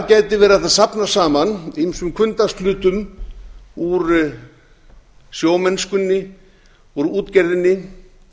verið hægt að safna saman ýmsum hvunndagshlutum úr sjómennskunni úr útgerðinni